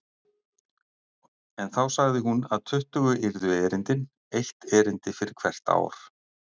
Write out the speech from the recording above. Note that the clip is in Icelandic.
En þá sagði hún að tuttugu yrðu erindin, eitt erindi fyrir hvert ár.